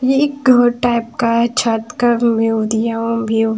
ये एक घर टाइप का है छत का व्यू दिया हुआ व्यू --